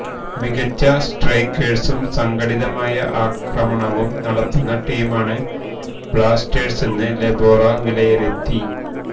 മികച്ച സ്ട്രൈക്കേഴ്സും സംഘടിതമായ ആക്രമണവും നടത്തുന്ന ടീമാണ് ബ്ലാസ്റ്റേഴ്സെന്ന് ലൊബേറ വിലയിരുത്തി